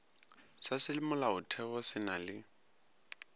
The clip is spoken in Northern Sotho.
sa semolaotheo se na le